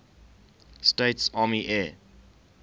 states army air